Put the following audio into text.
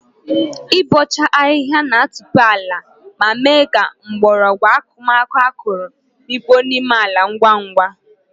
Ịbọcha ahịhịa na-atope ala ma mee ka mgbọrọgwụ akụmakụ akọrọ mikpuo n'ime ala ngwa ngwa.